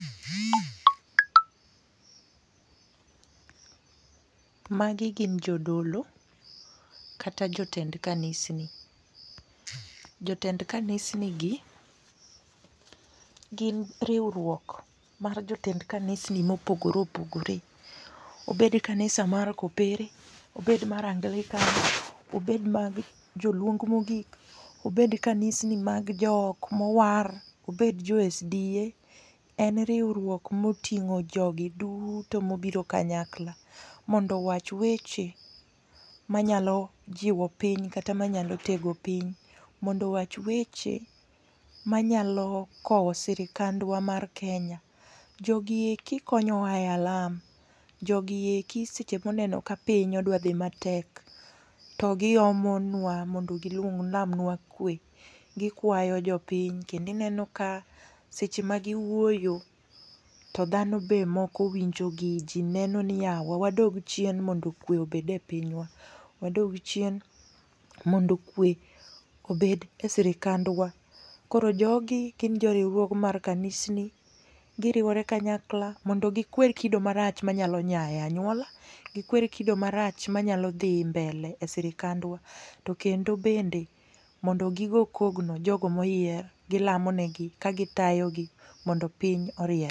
Ma gi gin jodolo kata jotend kanisni. Jotend kanisni gi gin riwruok mar jotend kanisni ma opogore opogore, obed kanisa mar kopere obed mar anglican, obed mag jo luong ma ogik, obed kanisni mag jok ma owar obed jo sda, en riwruok ma oting'o jo gi duto ma obiro kanyakla mondo iwach weche ma nyalo jiwo piny kata ma nyalo tego piny, mondo owach weche ma nyalo kowo sirkandwa mar Kenya. Jo gi eki konyowa e alam, jo gi eki seche ma oneno ka pinywa odwa dhi ma tek to gi omonwa mondo gi lamnwa kwe .Gi kwayo jopiny kendo ineno ka seche ma gi wuoyo to dhano be moko winjo gi ji neno ni yawa wadog chien mondo kwe obed e pinywa, wadog chien mondo kwe obed e sirkandwa. Koro jo gi gin jo riwruoge mag kanisni gi riwore kanyakla mondo gi kwer kido ma rach ma nyalo nya e anyuola, gi kwer kido ma rach ma nyalo dhi mbele e sirkandwa, to kendo bende gi kogno e jo go ma oyier, gi lamo ne gi ka gi tayone gi mondo piny oriere.